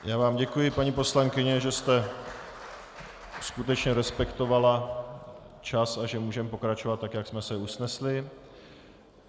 Já vám děkuji, paní poslankyně, že jste skutečně respektovala čas a že můžeme pokračovat tak, jak jsme se usnesli.